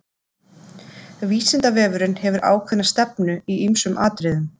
Vísindavefurinn hefur ákveðna stefnu í ýmsum atriðum.